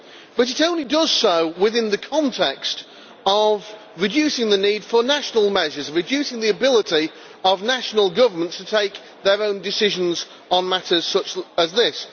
But it only does so within the context of reducing the need for national measures, reducing the ability of national governments to take their own decisions on matters such as this.